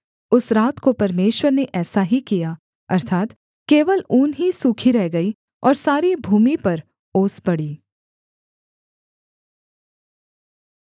उस रात को परमेश्वर ने ऐसा ही किया अर्थात् केवल ऊन ही सूखी रह गई और सारी भूमि पर ओस पड़ी